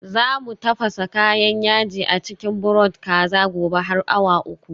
Za mu tafasa kayan yaji a cikin broth kaza. gobe har awa uku